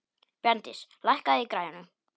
Bjarndís, lækkaðu í græjunum.